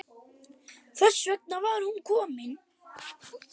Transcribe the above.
Þess vegna var hún komin.